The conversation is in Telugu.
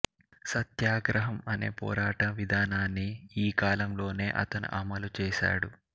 సత్యాగ్రహం అనే పోరాట విధానాన్ని ఈ కాలంలోనే అతను అమలు చేశాడు